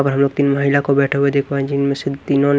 अब हम लोग तीन महिला को बैठे हुए देख पा जिनमें से तीनों ने--